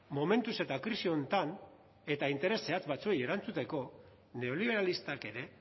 momentuz eta krisi honetan eta interes zehatz batzuei erantzuteko neoliberalistak ere